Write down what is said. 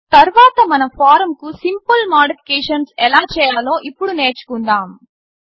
తర్వాత మన ఫారమ్కు సింపుల్ మాడిఫికేషన్స్ ఎలా చేయాలో ఇప్పుడు నేర్చుకుందాము